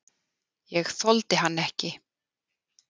Ég þoldi hann ekki.